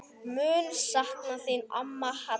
Mun sakna þín amma Hadda.